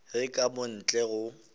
ge ka mo ntle go